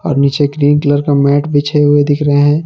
और नीचे green colour का मैट बिछे हुए दिख रहे हैं।